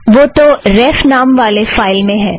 वो तो रेफ़ नाम वाले फ़ाइल में है